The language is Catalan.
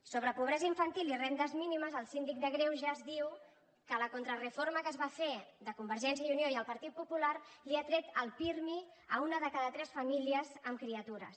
sobre pobresa infantil i rendes mínimes el síndic de greuges diu que la contrareforma que es va fer de convergència i unió i el partit popular li ha tret el pirmi a una de cada tres famílies amb criatures